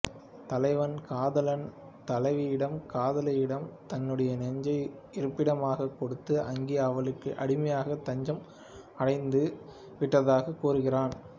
தலைவன் காதலன் தலைவியிடம் காதலியிடம் தன்னுடைய நெஞ்சை இருப்பிடமாகக் கொடுத்து அங்கே அவளுக்கு அடிமையாக தஞ்சம் அடைந்து விட்டதாகக் கூறுகிறானாம்